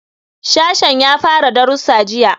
Sashen ya fara darussa jiya.